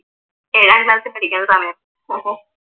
ഏഴാം ക്ലാസ്സിൽ പഠിക്കുന്ന സമയത്ത്